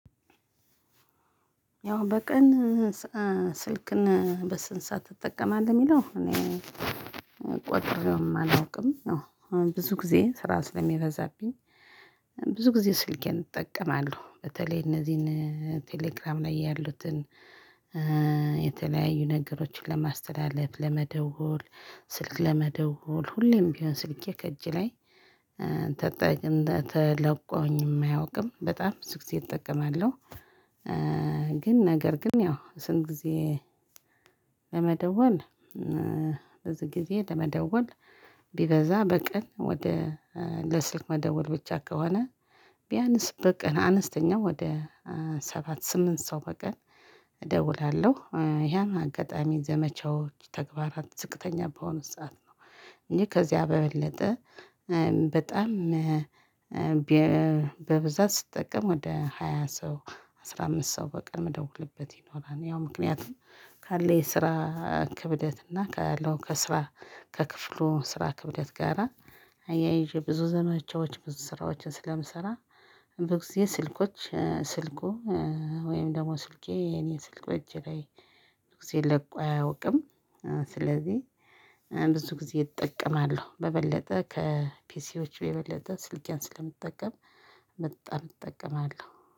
ያው በቀን ስልክን በስንት ሰዓት ትጠቀማለህ? የሚለው እኔ ቆጥሬውም አላውቅም። አሁን ብዙ ጊዜ ስራ ስለሚበዛብኝ ብዙ ጊዜ ስልኬን እጠቀማለሁ። በተለይ እነዚህን ቴሌግራም ላይ ያሉትን የተለያዩ ነገሮችን ለማስተላለፍ ለመደወል ስልክ ለመደወል ሁሌም ቢሆን ስልኬ ከእጅ ላይ ተጣች ተላቆኝ አያውቅም በጣም ብዙ ጊዜ እጠቀማለሁ። ግን ነገር ግን ያው ስንት ጊዜ? ለመደወል በዚህ ጊዜ ለመደወል። ቢበዛ በቀን ወደ ለስልክ መደወል ብቻ ከሆነ ቢያንስ በቀን አነስተኛ ወደ ሰባት ስምንት ሰው በቀን እደውላለሁ። ያን አጋጣሚ ዘመቻዎች ተግባራት ዝቅተኛ በሆነ ሰዓት ነው። እንጂ ከዚያ በበለጠ በጣም በብዛት ስጠቀም ወደ ሃያ ሰው አስራ አምስት ሰው በቀን ምደውልበት ይኖራል። ያው ምክንያቱም ካለ የስራ ክብደት እና ካለው ከስራ ከክፍሉ ስራ ክብደት ጋራ አያይዤ ብዙ ዘመቻዎች ብዙ ስራዎችን ስለምሰራ። በጊዜ ስልኮች ስልኩ ወይም ደግሞ ስልኬ የኔ ስልኮች እጄ ላይ ብዙ ጊዜ ለቆ አያውቅም። ስለዚህ ብዙ ጊዜ እጠቀማለሁ በበለጠ ከፒሲዎቹ የበለጠ ስልኬን ስለምትጠቀም በጣም እጠቀማለሁ